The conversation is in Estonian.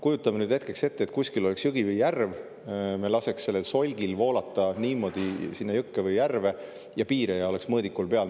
Kujutame hetkeks ette, et kuskil on jõgi või järv, me laseme solgil sinna jõkke või järve voolata ja mõõdikul oleks piiraja peal.